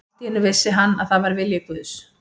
Og allt í einu vissi hann að það var vilji Guðs.